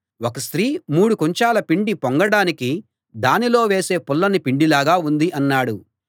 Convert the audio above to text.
ఒక స్త్రీ మూడు కుంచాల పిండి పొంగడానికి దానిలో వేసే పుల్లని పిండిలాగా ఉంది అన్నాడు